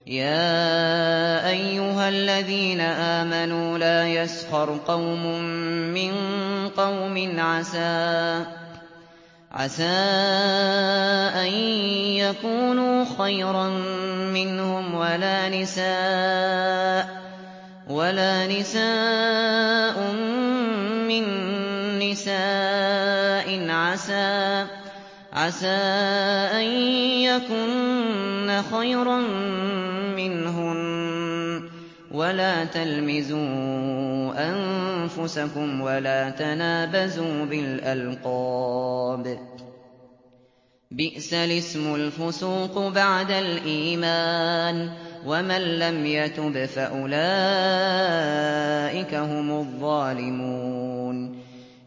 يَا أَيُّهَا الَّذِينَ آمَنُوا لَا يَسْخَرْ قَوْمٌ مِّن قَوْمٍ عَسَىٰ أَن يَكُونُوا خَيْرًا مِّنْهُمْ وَلَا نِسَاءٌ مِّن نِّسَاءٍ عَسَىٰ أَن يَكُنَّ خَيْرًا مِّنْهُنَّ ۖ وَلَا تَلْمِزُوا أَنفُسَكُمْ وَلَا تَنَابَزُوا بِالْأَلْقَابِ ۖ بِئْسَ الِاسْمُ الْفُسُوقُ بَعْدَ الْإِيمَانِ ۚ وَمَن لَّمْ يَتُبْ فَأُولَٰئِكَ هُمُ الظَّالِمُونَ